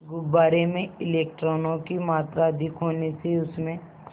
गुब्बारे में इलेक्ट्रॉनों की मात्रा अधिक होने से उसमें